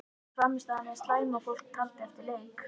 Var frammistaðan eins slæm og fólk taldi eftir leik?